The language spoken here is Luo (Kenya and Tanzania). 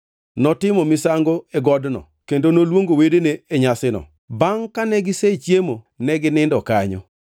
Notimo misango e godno kendo noluongo wedene e nyasino. Bangʼ kane gisechiemo, ne ginindo kanyo.